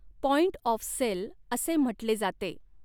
Point of sale असे म्हटले जाते.